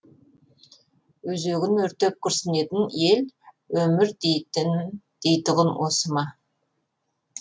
өзегін өртеп күрсінетін ел өмір дейтұғын осы ма